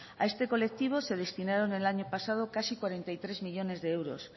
a este colectivo se destinaron el año pasado casi cuarenta y tres millónes de euros